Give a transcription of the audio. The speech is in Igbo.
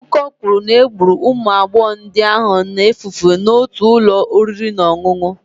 Akụkọ kwuru na egburu ụmụ agbọghọ ndị ahụ na-efu efu n'otu ụlọ oriri na ọṅụṅụ.